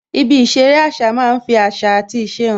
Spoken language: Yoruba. Ibi ìṣeré àṣà máa ń fi àṣà àti ìṣe hàn